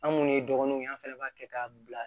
An minnu ye dɔgɔnunw ye an fana b'a kɛ k'a bila